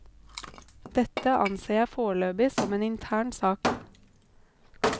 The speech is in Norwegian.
Dette anser jeg foreløpig som en intern sak.